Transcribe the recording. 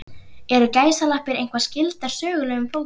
Eru gæsalappir eitthvað skyldar sögulegum fótum?